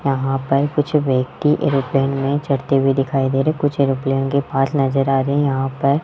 यहां पर कुछ व्यक्ति एरोप्लेन में चढ़ते हुए दिखाई दे रहे हैं कुछ एरोप्लेन के पास नजर आ रहे हैं यहां पर --